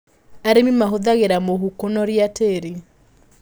Arĩmi mahũthĩraga mũhu kũnoria tĩri.